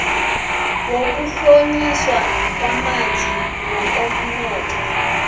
wokuhlonyiswa kwabanzima ngokomnotho